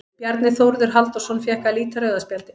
Bjarni Þórður Halldórsson fékk að líta rauða spjaldið.